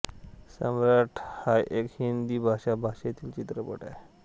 सम्राट हा एक हिंदी भाषा भाषेतील चित्रपट आहे